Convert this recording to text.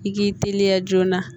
I k'i teliya joona